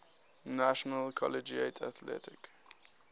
national collegiate athletic